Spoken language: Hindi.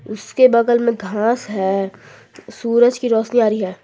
उसके बगल में घास है सूरज की रोशनी आ रही है।